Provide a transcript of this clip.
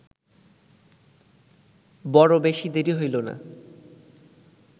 বড় বেশী দেরি হইল না